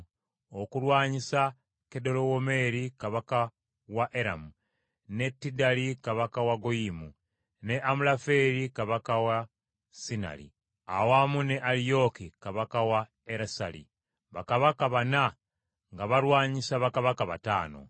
okulwanyisa Kedolawomeeri kabaka wa Eramu, ne Tidali kabaka wa Goyiyimu ne Amulafeeri kabaka wa Sinaali awamu ne Aliyooki kabaka wa Erasali, bakabaka bana nga balwanyisa bakabaka bataano.